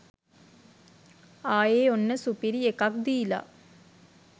ආයේ ඔන්න සුපිරි එකක් දීලා.